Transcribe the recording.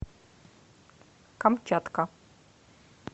камчатка